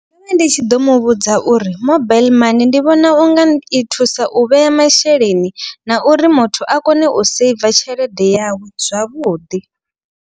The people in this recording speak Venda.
Ndo vha ndi tshi ḓo muvhudza uri mobaiḽi mani ndi vhona unga i thusa u vhea masheleni. Na uri muthu a kone u seiva tshelede yawe zwavhuḓi.